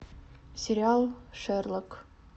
сериал шерлок